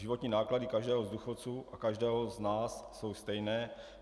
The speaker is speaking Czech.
Životní náklady každého z důchodců a každého z nás jsou stejné.